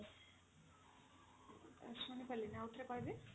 ଶୁଣିପାରିଲିନି ଆଉଥରେ କହିବେ